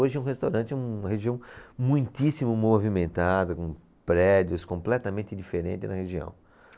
Hoje é um restaurante, uma região muitíssimo movimentada, com prédios completamente diferentes na região.